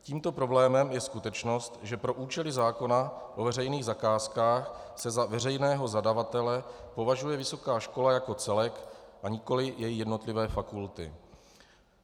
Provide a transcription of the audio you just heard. Tímto problémem je skutečnost, že pro účely zákona o veřejných zakázkách se za veřejného zadavatele považuje vysoká škola jako celek, a nikoli její jednotlivé fakulty.